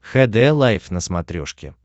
хд лайф на смотрешке